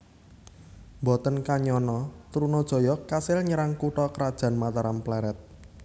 Mboten kanyana Trunajaya kasil nyerang kutha krajan Mataram Plered